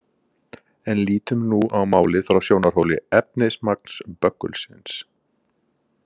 En lítum nú á málið frá sjónarhóli efnismagns böggulsins.